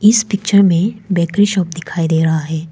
इस पिक्चर में bakery shop दिखाई दे रहा है।